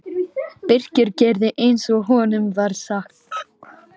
Birkir gerði eins og honum var sagt.